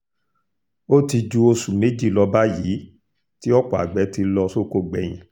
ó ti ju oṣù méjì lọ báyìí tí ọ̀pọ̀ àgbẹ̀ ti lọ sóko gbẹ̀yìn